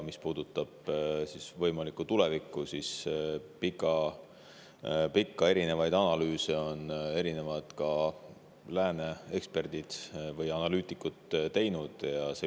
Mis puudutab võimalikku tulevikku, siis pikki erinevaid analüüse on teinud erinevad eksperdid, ka lääne eksperdid või analüütikud.